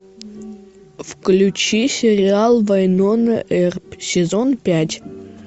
включи сериал вайнона эрп сезон пять